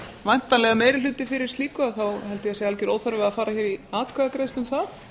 væntanlega meiri hluti fyrir slíku held ég að það sé algjör óþarfi að fara í atkvæðagreiðslu um það